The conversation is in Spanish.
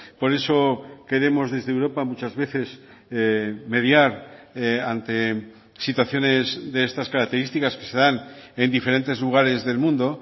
por eso queremos desde europa muchas veces mediar ante situaciones de estas características que se dan en diferentes lugares del mundo